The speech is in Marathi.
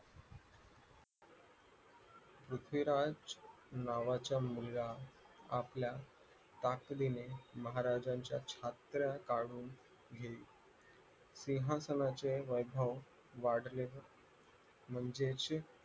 पृथ्वीराज नावाचा मुलगा आपल्या ताकदीने महाराजांच्या छत्र्या काढून सिंहासनाचे वैभव वाढले म्हणजे